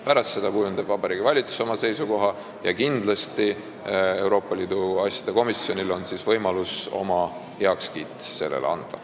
Pärast seda kujundab Vabariigi Valitsus oma seisukoha ja kindlasti on Euroopa Liidu asjade komisjonil võimalik sellele oma heakskiit anda.